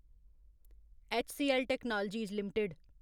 HCL technologies limited